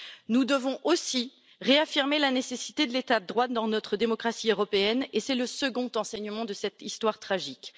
Nous devons aussi réaffirmer la nécessité de l'état de droit dans notre démocratie européenne, et c'est le second enseignement de cette histoire tragique.